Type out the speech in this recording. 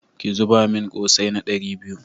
Ki zuba min ƙosai na ɗari biyu